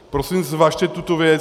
Prosím zvažte tuto věc.